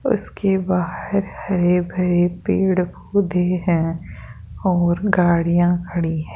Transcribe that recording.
उसके बाहर हरे भरे पेड़ पौधे हैं और गाड़ियां खड़ी है।